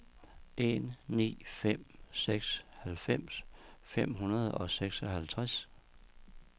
en ni fem seks halvfems fem hundrede og seksoghalvtreds